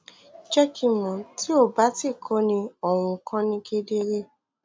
jẹ ki n mọ ti o ba ti ko ni ohun kan ni kedere